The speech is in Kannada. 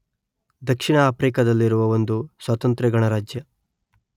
ದಕ್ಷಿಣ ಆಫ್ರಿಕದಲ್ಲಿರುವ ಒಂದು ಸ್ವತಂತ್ರ ಗಣರಾಜ್ಯ